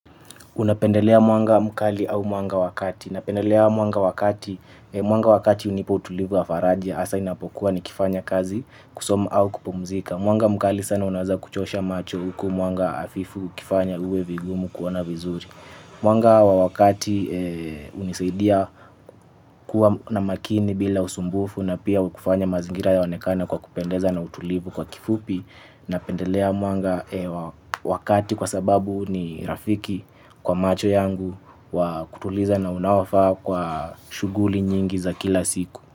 Unapendelea mwanga mkali au mwanga wa kati. Napendelea mwanga wa kati. Mwanga wakati unipa utulivu wa faraja asa inapokuwa ni kifanya kazi kusoma au kupumzika. Mwanga mkali sana unaza kuchosha macho huku mwanga hafifu ukifanya uwe vigumu kuona vizuri. Mwanga wa wakati unisaidia kuwa na makini bila usumbufu na pia ukufanya mazingira yaonekana kwa kupendeza na utulivu kwa kifupi. Napendelea mwanga wa kati kwa sababu ni rafiki kwa macho yangu wa kutuliza na unaofaa kwa shuguli nyingi za kila siku.